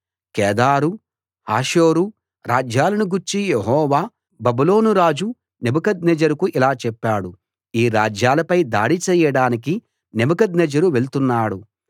కేదారు Hazor రాజ్యాలను గూర్చి Jehovah బబులోనురాజు నెబుకద్నెజరుకు ఇలా చెప్పాడు ఈ రాజ్యాలపై దాడి చేయడానికి నెబుకద్నెజరు వెళ్తున్నాడు లేవండి కేదారుపై దాడి చేయండి ఆ తూర్పు దిక్కున ఉన్న ప్రజలను నాశనం చేయండి